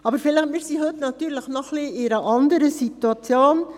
Wir sind heute noch in einer etwas anderen Situation.